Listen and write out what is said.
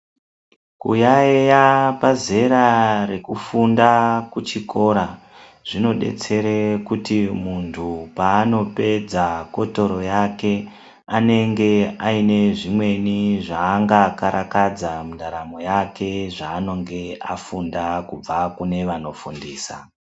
Kuyaeya pazera rekufunda kuchikora zvinodetsere kuti muntu paano pedza kotoro yake anenge aine zvimweni zvaanga karakadza mundaramo yake zvaanonge afunda kubva kune vanofundisa.